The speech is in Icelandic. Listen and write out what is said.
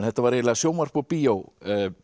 þetta var eiginlega sjónvarp og bíó